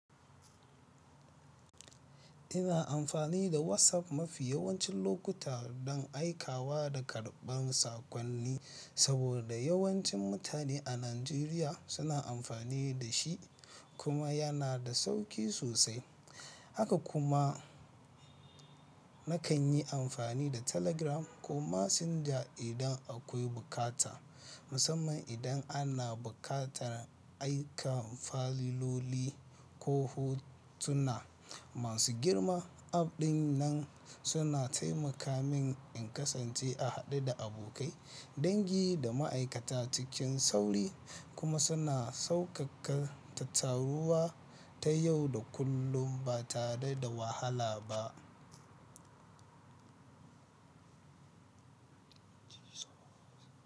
Ina amfani da WhatsApp mafi yawancin lokuta don aikawa da karɓar sakon ni, saboda yawancin mutane a Najeriya suna amfani da sh, i kuma yana da sauƙi sosai. Haka kuma, nakan yi amfani da Telegram ko Messenger idan akwai bukata, musamman idan ana buƙatar aika fayiloli ko hottuna. Masu girma app ɗin nan suna taimaka min in kasance a haɗe da abokai, dangi da ma'aikata cikin sauri kuma suna sauƙaƙa tattaruwa ta yau da kullum ba tare da wahala ba.